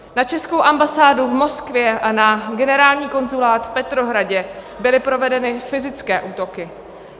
Na českou ambasádu v Moskvě a na generální konzulát v Petrohradě byly provedeny fyzické útoky.